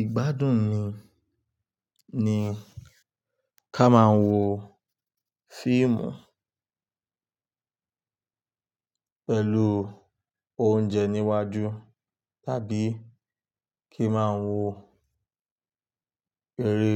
Ìgbádùn ni, ni ká máa ń wo fíìmù pẹ̀lú oúnjẹ níwájú tàbí kí máa wo eré